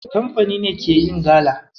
Kamfani ne ke yin gala.